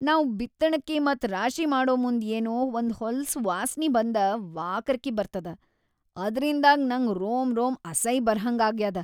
ನಾವ್‌ ಬಿತ್ತಣಕಿ ಮತ್‌ ರಾಶಿ ಮಾಡಮುಂದ್‌ ಏನೊ ಒಂದ್‌ ಹೊಲಸ್‌ ವಾಸ್ನಿ ಬಂದ ವಾಕರಕಿ ಬರ್ತದ, ಅದ್ರಿಂದಾಗ್ ನಂಗ್ ರೋಮ್‌ ರೋಮ್‌ ಅಸೈ ಬರಹಂಗಾಗ್ಯಾದ.